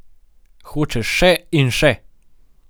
Hočeš še in še!